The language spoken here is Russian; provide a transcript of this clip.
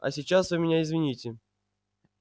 а сейчас вы меня извините